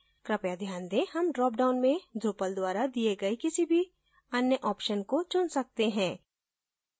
कृपया ध्यान रखें हम dropdown में drupal द्वारा दिए गए किसी भी any option को चुन सकते हैं